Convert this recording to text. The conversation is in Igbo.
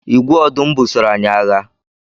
Igwe ọdụm busoro anyị agha.